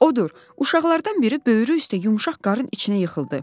Odur, uşaqlardan biri böyrü üstə yumşaq qarın içinə yıxıldı.